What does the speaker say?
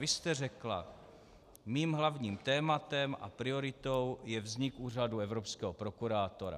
Vy jste řekla: Mým hlavním tématem a prioritou je vznik úřadu evropského prokurátora.